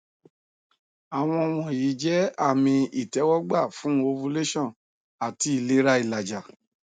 awọn wọnyi jẹ ami itẹwọgba fun ovulation ati ilera ilaja